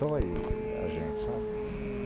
Dói a gente, sabe?